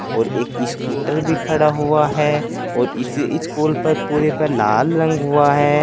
और एक स्कूटर भी खड़ा हुआ है और इस स्कूल पर पूरे पर लाल रंग हुआ है।